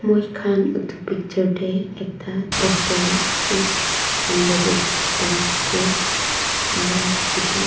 moi khan edu picture tae ekta doctor la office under tae dikhipaiase aro--